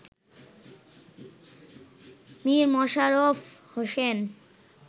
Mir Mosharraf Hossain